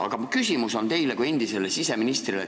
Aga minu küsimus on teile kui endisele siseministrile.